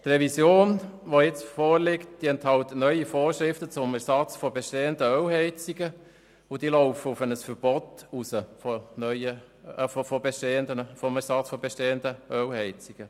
Die jetzt vorliegende Revision enthält neue Vorschriften zum Ersatz von bestehenden Ölheizungen, und diese laufen auf ein Verbot von Ölheizungen hinaus.